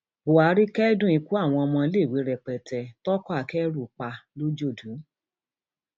buhari kẹdùn ikú àwọn ọmọléèwé rẹpẹtẹ toko akẹrù pa lọjọdù